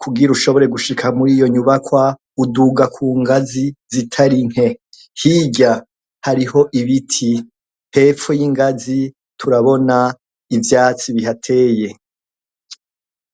kugira ushobore gushika muri iyo nyubakwa uduga kungazi zitari nke hirya hariho ibiti hepfo y' ingazi turabona ivyatsi bihateye.